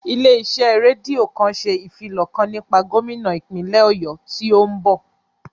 Ilé iṣẹ́ rédíò kan ṣe ìfilọ̀ kan nípa gómínà ìpínlè Ọ̀yọ́ tí ó ń bọ̀